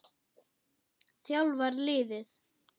þjálfar liðið.